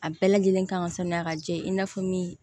A bɛɛ lajɛlen kan ka sanuya ka jɛ i n'a fɔ min